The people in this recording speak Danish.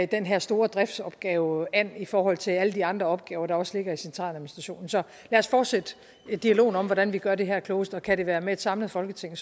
den her store driftsopgave an i forhold til alle de andre opgaver der også ligger i centraladministrationen så lad os fortsætte dialogen om hvordan vi gør det her klogest og kan det være med et samlet folketing